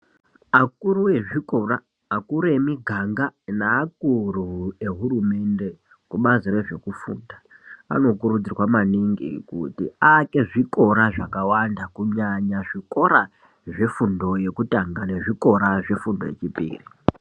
Akuru ezvikora, akuru emiganga neakuru ehurumende kubazi rezvekufufunda anokurudzirwa maningi kuti aake zvikora zvakawanda kunyanya zvikora zvefundo yekutanga nezvikora zvefundo yechipiri.